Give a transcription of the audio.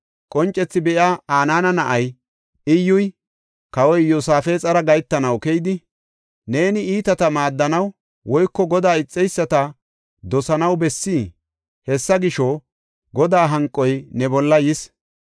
Qoncethi be7iya, Anaana na7ay Iyyuy kawa Iyosaafexara gahetanaw keyidi, “Neeni iitata maaddanaw woyko Godaa ixeyisata dosanaw bessii? Hessa gisho, Godaa hanqoy ne bolla yis.